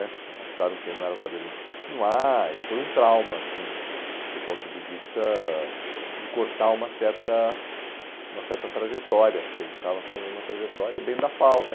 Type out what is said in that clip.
né acharam que não era o caso da gente continuar e foi um trauma, assim, do ponto de vista de cortar uma certa uma certa trajetória, porque a gente estava fazendo uma trajetória dentro da FAU, né?